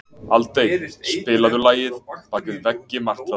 Aldey, spilaðu lagið „Bak við veggi martraðar“.